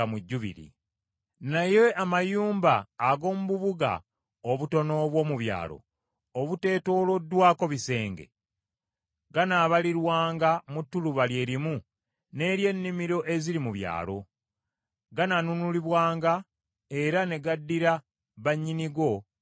Naye amayumba ag’omu bubuga obutono obw’omu byalo obuteetooloddwako bisenge, ganaabalirwanga mu ttuluba lye limu n’ery’ennimiro eziri mu byalo. Ganaanunulibwanga era ne gaddira bannyinigo mu Jjubiri.